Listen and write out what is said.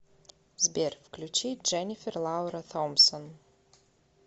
сбер включи дженифер лаура томпсон